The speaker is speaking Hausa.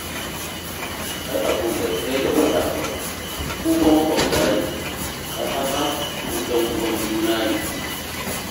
Ai abin bai kai ga faɗa ba, ku fa maƙwabta ne, don haka, ku 'yanuwan juna ne